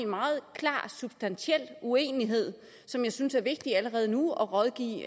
meget klar substantiel uenighed som jeg synes er vigtig allerede nu at rådgive